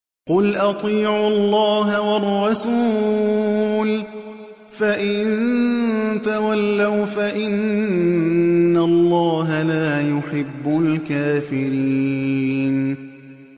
قُلْ أَطِيعُوا اللَّهَ وَالرَّسُولَ ۖ فَإِن تَوَلَّوْا فَإِنَّ اللَّهَ لَا يُحِبُّ الْكَافِرِينَ